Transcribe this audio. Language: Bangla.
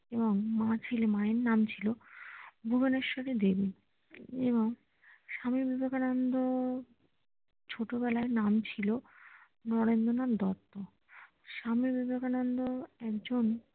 এবং মা ছিলেন মা এর নাম ছিল ভুবেনেশ্বরী দেবী এবং স্বামী বিবেকানন্দ ছোট বেলায় নাম ছিলো নরেন্দ্রনাথ দত্ত স্বামী বিবেকানন্দ একজন